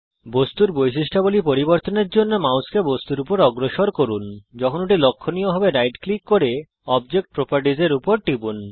বস্তুর বৈশিষ্ট্যাবলী পরিবর্তন করার জন্যে মাউসকে বস্তুর উপর অগ্রসর করুন যখন ওটি লক্ষণীয হবে রাইট ক্লিক করুন এবং অবজেক্ট properties এ টিপুন